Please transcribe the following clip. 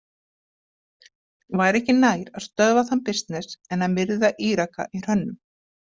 Væri ekki nær að stöðva þann bisness en að myrða Íraka í hrönnum?